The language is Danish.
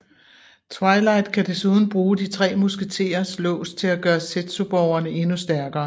Twilight kan desuden bruge de tre musketers lås til at gøre zetsuborgene endnu stærkere